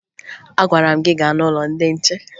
Agwara m gị gaa n'ụlọ ndị nche!